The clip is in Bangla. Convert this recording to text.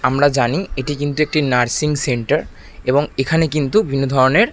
আমরা জানি এটি কিন্তু একটি নার্সিং সেন্টার এবং এখানে কিন্তু বিভিন্ন ধরণের--